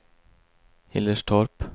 Hillerstorp